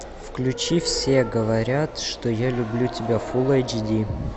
включи все говорят что я люблю тебя фулл эйч ди